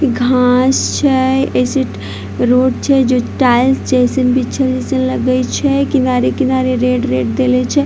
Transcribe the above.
घास छै ए सइड रोड छै जो टाइल्स जैसन बीछएल-बीछएल लगय छै किनारे-किनारे रेड - रेड देले छै।